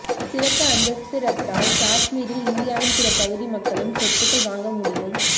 சிறப்பு அந்தஸ்து ரத்தால் காஷ்மீரில் இந்தியாவின் பிற பகுதி மக்களும் சொத்துகள் வாங்க முடியும்